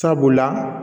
Sabula